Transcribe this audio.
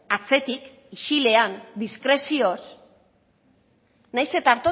atzetik isilean diskrezioz nahiz eta